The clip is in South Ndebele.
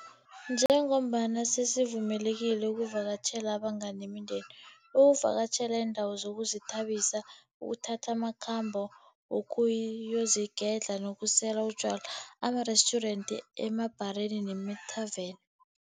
Njengombana sesivumelekile ukuvakatjhela abangani nemindeni, ukuvakatjhela iindawo zokuzithabisa, ukuthatha amakhambo wokuyozigedla nokusela utjwala emarestjurenti, emabhareni nemathaveni.